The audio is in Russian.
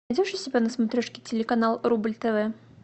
найдешь у себя на смотрешке телеканал рубль тв